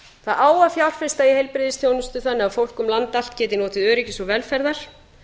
það á að fjárfesta í heilbrigðisþjónustu þannig að fólk um land allt geti notið öryggis og velferðar